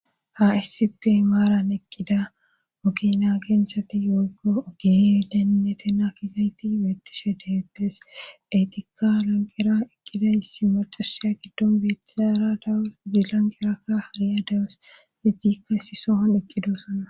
Hassipi maaran ekkida okina genshati yogo ogee dennetena kizayti beettishe deettes etikka lanqera ekkida issi moxusiya giddon beetizara dawu zilanqerakka hariya dawus zidikka si sohon ekkidoosana